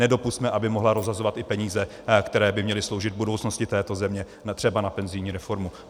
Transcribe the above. Nedopusťme, aby mohla rozhazovat i peníze, které by měly sloužit budoucnosti této země třeba na penzijní reformu.